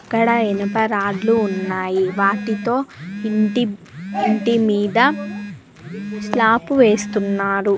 ఇక్కడ ఇనుప రాడ్లు ఉన్నాయి వాటితో ఇంటి మీద స్లాపు వేస్తున్నారు.